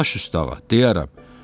Baş üstə ağa, deyərəm.